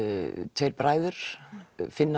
tveir bræður finna